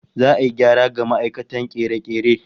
Za'a yi gyara ga ma'aikatar kere-kere